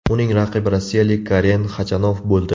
Uning raqibi rossiyalik Karen Xachanov bo‘ldi.